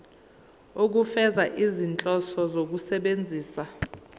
ukufeza izinhloso zokusebenzisa